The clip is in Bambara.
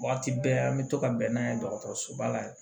Waati bɛɛ an bɛ to ka bɛn n'a ye dɔgɔtɔrɔsoba la